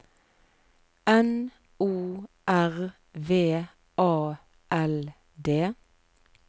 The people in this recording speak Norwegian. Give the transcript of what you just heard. N O R V A L D